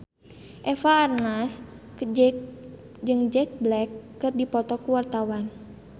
Eva Arnaz jeung Jack Black keur dipoto ku wartawan